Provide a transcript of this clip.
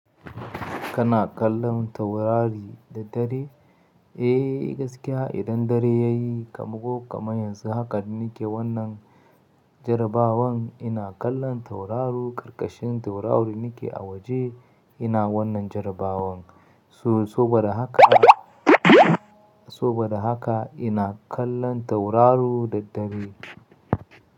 Kana kallon taurari da dare? Eh gaskiya idan dare yayi kam ko, kaman yanzu haka nake wannan jarabawan ina kallon tauraro karkashin taurari nake a waje ina wannan jarabawan. So-soba da haka, soba da haka ina kallon tauraru da dare.